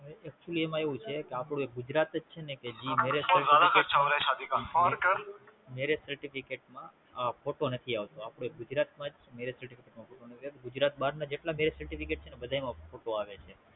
Actually માં એવું છે કે આપણું એક ગુજરાત જ છેને જી Marriage Certificate માં ફોટો નથી આપતું આપડા એક ગુજરાત માં જ નથી આવતું ગુજરાત બાર ના બધા માં ફોટો આવે છે.